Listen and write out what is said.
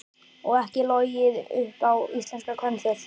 Og ekki logið upp á íslenska kvenþjóð.